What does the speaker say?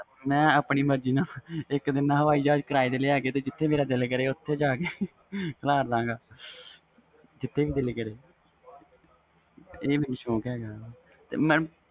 ਮੈਂ ਆਪਣੀ ਮਰਜੀ ਨਾ ਇਕ ਦਿਨ ਕਿਰਾਏ ਤੇ ਹਾਵੀ ਜਹਾਜ ਲੈ ਕੇ ਜਿਥੇ ਮੇਰਾ ਦਿਲ ਕਰੇ ਓਥੇ ਖਾਲਰ ਦਵਾਂਗਾ ਜਿਥੇ ਵੀ ਦਿਲ ਕਰੇ ਇਹ ਮੈਨੂੰ ਸੌਕ ਹੈ ਗਾ ਵ